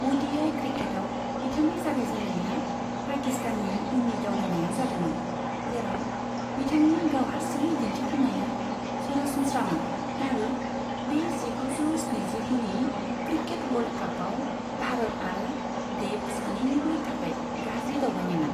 अ'डिआइ क्रिकेटआव बिथांनि जागायजेननाया पाकिस्ताननि उननि दावबायनायाव जादोंमोन, जेराव बिथांनि गाव हारसिंनि दिन्थिफुंनाया सरासनस्रामोन आरो बे जिगुजौ स्निजिगुनि क्रिकेट वर्ल्ड कापआव भारत आरो देब सानैनिबो थाखाय गाज्रि दावबायनायमोन।